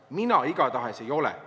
Mina igatahes ei ole.